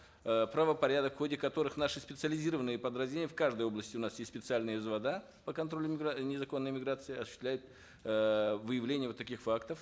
э правопорядок в ходе которых наши специализированные подразделения в каждой области у нас есть специальные по контролю э незаконной миграции осуществляет э выявление вот таких фактов